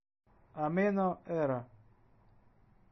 амено эра